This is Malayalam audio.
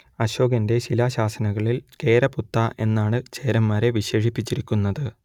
അശോകന്റെ ശിലാശാസനങ്ങളിൽ കേരപുത്താ എന്നാണ് ചേരന്മാരെ വിശേഷിപ്പിച്ചിരിക്കുന്നത്